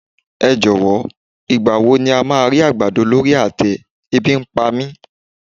Ẹ jọ̀wọ́, ìgbà wo ni a máa rí àgbàdo lórí àtẹ, e bi ń pa mí.